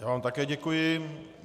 Já vám také děkuji.